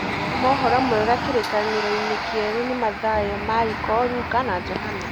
Mabuku ma ũhoro mwega kĩrĩkaniro-inĩ kĩerũ nĩ Mathayo, Mariko, Luka na Johana.